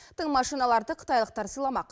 тың машиналарды қытайлықтар сыйламақ